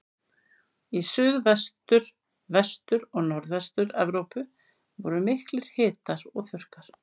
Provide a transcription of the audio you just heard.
Í Suðvestur-, Vestur- og Norðvestur-Evrópu voru miklir hitar og þurrkar.